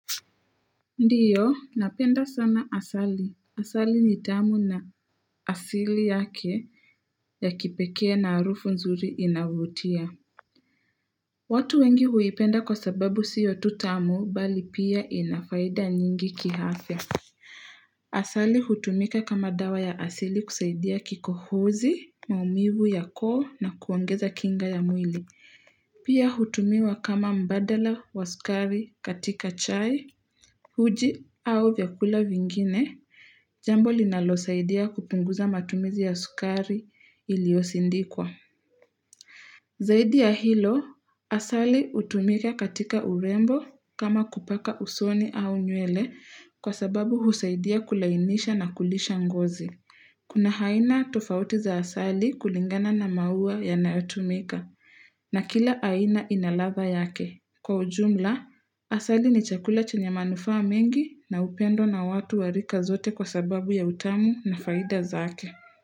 Ndiyo napenda sana asali asali nitamu na asili yake ya kipekee na arufu nzuri inavutia watu wengi huipenda kwa sababu siyo tu tamu bali pia ina faida nyingi kiafya asali hutumika kama dawa ya asili kusaidia kikohozi maumivu ya koo na kuongeza kinga ya mwili Pia hutumiwa kama mbadala wa sukari katika chai, uji au vyakula vingine, jambo linalosaidia kupunguza matumizi ya sukari iliyosindikwa. Zaidi ya hilo, asali hutumika katika urembo kama kupaka usoni au nywele kwa sababu husaidia kulainisha na kulisha ngozi. Kuna haina tofauti za asali kulingana na maua yanayotumika na kila haina ina ladha yake. Kwa ujumla, asali ni chakula chenye manufaa mengi na upendo na watu wa rika zote kwa sababu ya utamu na faida zake.